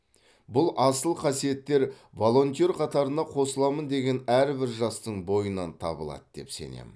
бұл асыл қасиеттер волонтер қатарына қосыламын деген әрбір жастың бойынан табылады деп сенемін